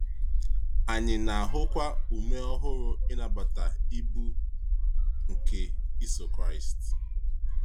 Anyị na-ahụkwa ume ọhụrụ n’ịnabata “ibu” nke iso Kraịst.